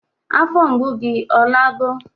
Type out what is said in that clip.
Afọ mgbu gi ọ nago?